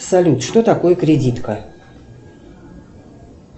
салют что такое кредитка